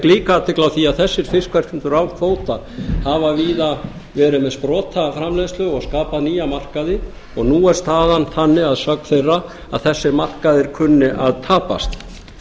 líka athygli á því að þessir fiskverkendur án kvóta hafa víða verið með sprotaframleiðslu og skapað nýja markaði og nú er staðan þannig að sögn þeirra að þessir markaðir kunni að tapast